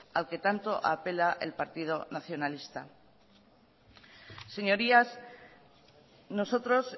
al que tanto apela el partido nacionalista señorías nosotros